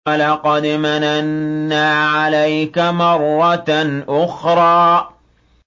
وَلَقَدْ مَنَنَّا عَلَيْكَ مَرَّةً أُخْرَىٰ